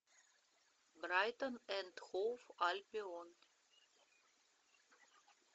брайтон энд хоув альбион